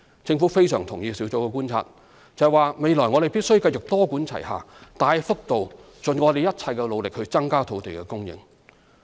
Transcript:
政府非常贊同小組的觀察，就是未來我們必須繼續多管齊下，大幅度盡一切努力增加土地供應。